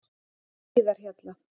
Hlíðarhjalla